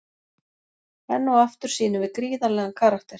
Enn og aftur sýnum við gríðarlegan karakter.